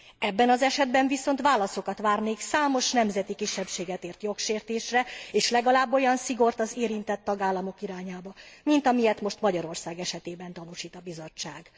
Ebben az esetben viszont válaszokat várnék számos nemzeti kisebbséget ért jogsértésre és legalább olyan szigort az érintett tagállamok irányába, mint amilyet most Magyarország esetében tanúsít a Bizottság.